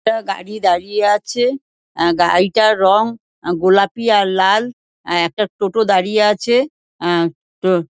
একটা গাড়ি দাঁড়িয়ে আছে আ গাড়িটার রং আ গোলাপি আর লাল আ একটা টোটো দাঁড়িয়ে আছে আ টো--